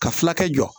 Ka fulakɛ jɔ